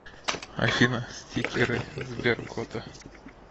афина стикеры сберкота